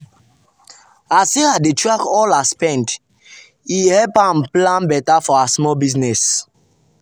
as sarah dey track all her spend e help am plan better for her small business.